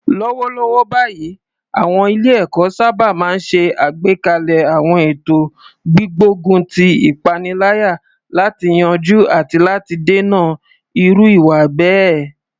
Lọ́wọ́lọ́wọ́ báyìí, àwọn ilé-ẹ̀kọ́ sábà máa ń ṣe àgbékalẹ̀ àwọn ètò gbígbógun ti ìpaniláyà láti yanjú àti láti dènà irú ìwà bẹ́ẹ̀.